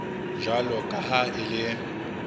jwalo ka ha e le